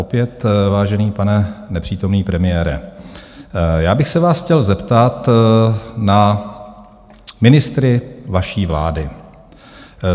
Opět vážený pane nepřítomný premiére, já bych se vás chtěl zeptat na ministry vaší vlády.